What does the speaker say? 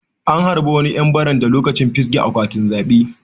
An harba wani yan baranda lokacin fisge akwatin zabe.